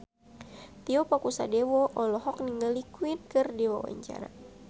Tio Pakusadewo olohok ningali Queen keur diwawancara